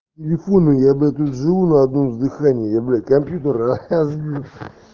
телефоны я бы тут живу на одну издыхании я блять компьютера ха разбил